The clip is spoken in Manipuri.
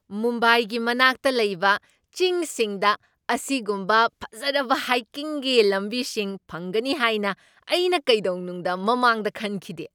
ꯃꯨꯝꯕꯥꯏꯒꯤ ꯃꯅꯥꯛꯇ ꯂꯩꯕ ꯆꯤꯡꯁꯤꯡꯗ ꯑꯁꯤꯒꯨꯝꯕ ꯐꯖꯔꯕ ꯍꯥꯏꯀꯤꯡꯒꯤ ꯂꯝꯕꯤꯁꯤꯡ ꯐꯪꯒꯅꯤ ꯍꯥꯏꯅ ꯑꯩꯅ ꯀꯩꯗꯧꯅꯨꯡꯗ ꯃꯃꯥꯡꯗ ꯈꯟꯈꯤꯗꯦ꯫